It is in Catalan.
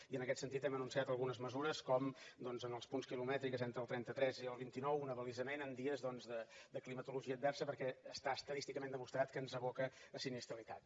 i en aquest sentit hem anunciat algunes mesures com doncs en els punts quilomètrics entre el trenta tres i el vint nou un abalisament en dies de climatologia adversa perquè està estadísticament demostrat que ens aboca a sinistralitat